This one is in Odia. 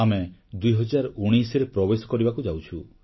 ଆମେ 2019ରେ ପ୍ରବେଶ କରିବାକୁ ଯାଉଛୁ